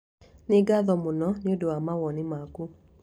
Nĩ ngatho mũno nĩ ũndũ wa mawoni maku.